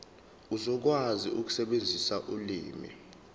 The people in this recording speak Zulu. uzokwazi ukusebenzisa ulimi